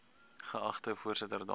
geagte voorsitter dames